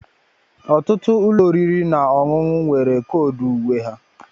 ọtụtụ ụlọ oriri na ọṅụṅụ nwere koodu uwe